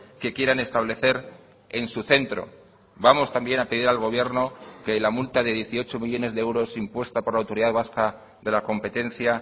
que quieran establecer en su centro vamos también a pedir al gobierno que la multa de dieciocho millónes de euros impuesta por la autoridad vasca de la competencia